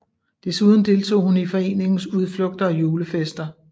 Desuden deltog hun i foreningens udflugter og julefester